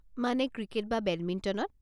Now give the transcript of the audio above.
মানে, ক্রিকেট বা বেডমিণ্টনত।